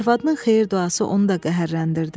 Arvadının xeyir duası onu da qəhərləndirdi.